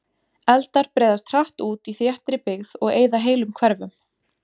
Eldar breiðast hratt út í þéttri byggð og eyða heilum hverfum.